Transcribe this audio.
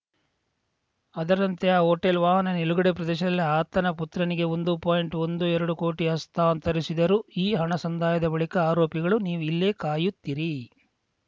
ಅದರಂತೆ ಆ ಹೋಟೆಲ್‌ ವಾಹನ ನಿಲುಗಡೆ ಪ್ರದೇಶದಲ್ಲಿ ಆತನ ಪುತ್ರನಿಗೆ ಒಂದು ಪಾಯಿಂಟ್ಒಂದು ಎರಡು ಕೋಟಿ ಹಸ್ತಾಂತರಿಸಿದರು ಈ ಹಣ ಸಂದಾಯವಾದ ಬಳಿಕ ಆರೋಪಿಗಳು ನೀವು ಇಲ್ಲೇ ಕಾಯುತ್ತಿರಿ